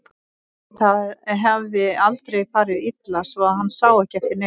En það hafði aldrei farið illa svo hann sá ekki eftir neinu.